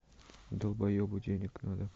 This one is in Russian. долбоебу денег надо